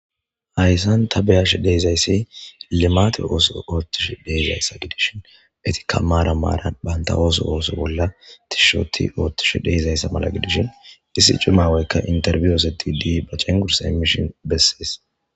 Hayssan ta beyash deezayssi limate ooso oottish deezayssa giidishin etika maara maara banta ooso ooso bolla tishshoti oottish deezayssa mala gidishin issi cumaweykka interbyo osedidi bacengursa emishin bessees.